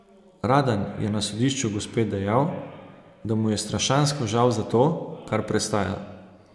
Radan je na sodišču gospe dejal, da mu je strašansko žal za to, kar prestaja.